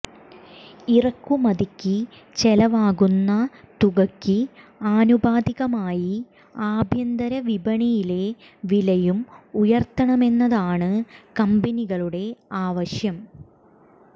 ഇറക്കുമതിക്ക് ചെലവാകുന്ന തുകക്ക് ആനുപാതികമായി ആഭ്യന്തര വിപണിയിലെ വിലയും ഉയര്ത്തണമെന്നതാണ് കമ്പനികളുടെ ആവശ്യം